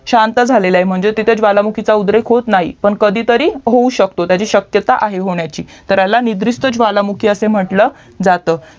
शांत झालेला आहे तिथे ज्वालामुखीचा उद्रेक होत नाही पण कधी तरी होऊ शकतो म्हणजे शक्यता आहे होण्याची तर ह्याला निद्रिस्त ज्वालामुखी असं म्हंटलं जातं